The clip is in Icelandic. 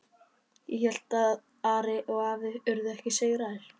Ég hélt að Ari og afi yrðu ekki sigraðir.